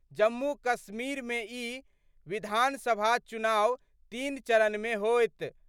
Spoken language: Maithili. जम्मू- कश्मीर मे ई विधानसभा चुनाव तीन चरण मे होयत।